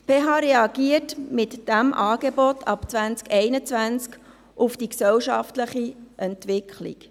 Die PH Bern reagiert mit diesem Angebot ab 2021 auf die gesellschaftliche Entwicklung.